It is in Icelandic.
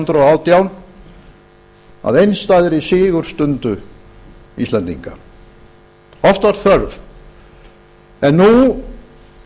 og átján að einstæðri sigurstundu íslendinga oft var þörf en nú